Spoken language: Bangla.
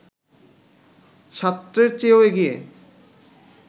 সার্ত্রের চেয়েও এগিয়ে